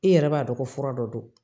I yɛrɛ b'a dɔn ko fura dɔ don